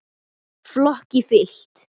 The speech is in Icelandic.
Flokki fylkt.